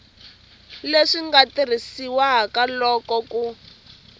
leswi nga tirhisiwaka loko ku